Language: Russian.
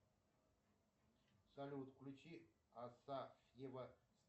салют включи асафьева